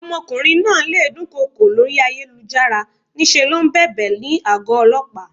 Ọmọkùnrin náà le dún kokò lórí ayélujára, ní ṣe ló ń bèbè ní àgó Ọlọ́pàá.